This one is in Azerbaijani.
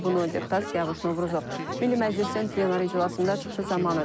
Bunu deputat Siyavuş Novruzov Milli Məclisin plenar iclasında çıxışı zamanı deyib.